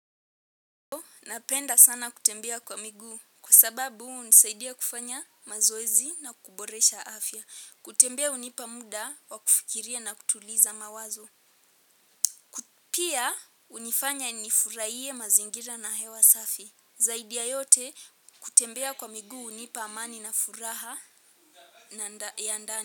Napenda sana kutembea kwa miguu kwa sababu hunisaidia kufanya mazoezi na kuboresha afya kutembea hunipa muda wa kufikiria na kutuliza mawazo. Pia hunifanya nifurahie mazingira na hewa safi zaidi ya yote kutembea kwa miguu hunipa amani na furaha ya ndani.